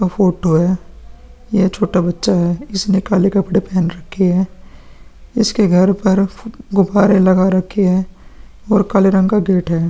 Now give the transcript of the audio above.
का फोटो है ये छोटा बच्चा है इसने काले कपड़े पेहन रखे है इसके घर पर गुब्बरे लगा रखे है और काले रंग का गेट है।